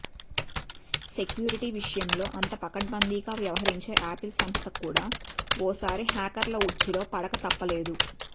security విషయంలో అంత పకడ్బందీగా వ్యవహరించే యాపిల్ సంస్థ కూడా ఓసారి హ్యాకర్ల ఉచ్చులో పడకతప్పలేదు